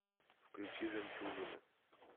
включи жемчужину